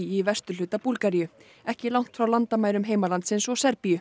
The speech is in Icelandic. í vesturhluta Búlgaríu ekki langt frá landamærum heimalandsins og Serbíu